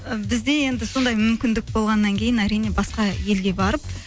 і бізде енді сондай мүмкіндік болғаннан кейін әрине басқа елге барып